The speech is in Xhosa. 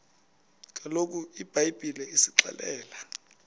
kaloku ibhayibhile isixelela